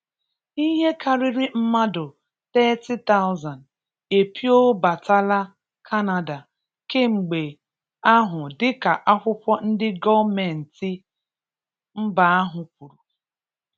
Ihe karịrị mmadụ 30,000 epiobatala Kanada kemgbe ahụ dịka akwụkwọ ndị gọmmenti mba ahụ kwuru.